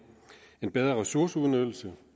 en bedre ressourceudnyttelse